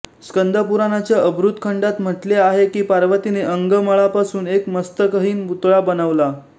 स्कंदपुराणाच्या अर्बुद खण्डात म्हटले आहे की पार्वतीने अंगमळापासून एक मस्तकहीन पुतळा बनवला